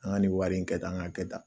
An ka nin wari in kɛ tan ka kɛ tan